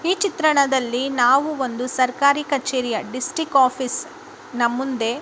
ಈ ಚಿತ್ರಣದಲ್ಲಿ ನಾವು ಒಂದು ಸರ್ಕಾರಿ ಕಚೇರಿಯ ಡಿಸ್ಟಿಕ್ ಆಫೀಸ್ ನಾ ಮುಂದೆ--